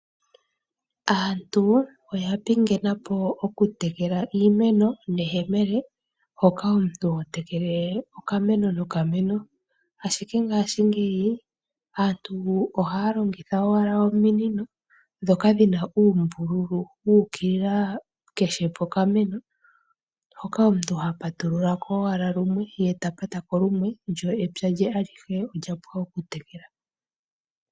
Aantu oyapingenapo okutekela iimeno neyemele moka omuntu hotekele okameno nokameno, ashike ngashingeyi aantu ohayalongitha wala ominino ndhoka dhina uumbululu wu ukilila kehe pokameno , moka omuntu ha patululako owala lumwe lyo epya lye alihe olyapwa okutekela.